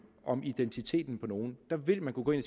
om identiteten på nogle vil man kunne gå ind